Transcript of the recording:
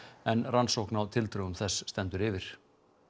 en rannsókn á tildrögum þess stendur yfir